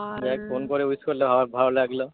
যাই হোক ফোন করে wish করলে আমার ভালো লাগলো।